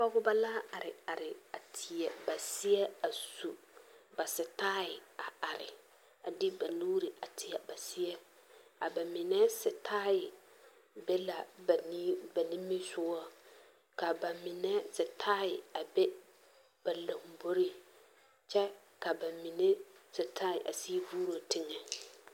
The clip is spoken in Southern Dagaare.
Pɔgeba la are are a teɛ seɛ a su sitaae kpare a de ba nuuri a teɛ ba mine sitaae be la ba nimisɔgɔ ka ba mine sitaae a be lomboe kyɛ ka ba mine sitaae a sigi vuuro teŋɛ.